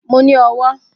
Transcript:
Mo ní owó